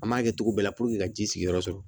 An m'a kɛ cogo bɛɛ la ka ji sigiyɔrɔ sɔrɔ